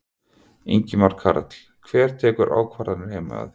Ingimar Karl: Hver tekur ákvarðanir heima hjá þér?